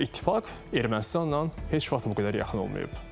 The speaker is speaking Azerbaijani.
İttifaq Ermənistanla heç vaxt bu qədər yaxın olmayıb.